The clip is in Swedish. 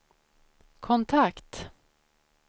kontakt